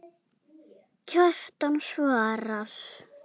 Kjartan svarar